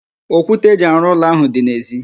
Okwute eji arụ ụlọ ahụ dị n'ezi